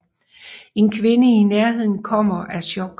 En kvinde i nærheden omkommer af chok